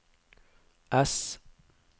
S